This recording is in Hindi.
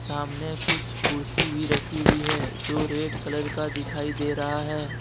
सामने कुछ कुर्सी भी रखी हुई है जो रेड कलर का दिखाई दे रहा है।